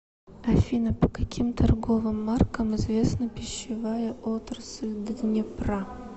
афина по каким торговым маркам известна пищевая отрасль днепра